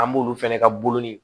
An b'olu fɛnɛ ka bolonin